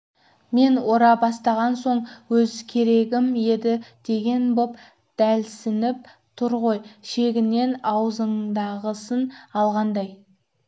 мен ора бастаған соң өз керегім еді деген боп бәлсініп тұр ғой шегінен аузындағысын алғандай